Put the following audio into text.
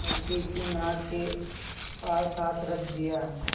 लड़के की नाक के पास हाथ रख दिया